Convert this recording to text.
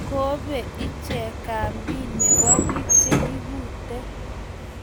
kope ichek kambi nebo biik chekikuute